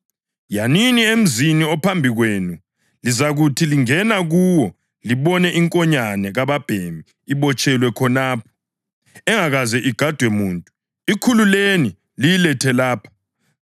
“Yanini emzini ophambi kwenu, lizakuthi lingena kuwo libone inkonyane kababhemi ibotshelwe khonapho, engakaze igadwe muntu. ‘Ikhululeni liyilethe lapha.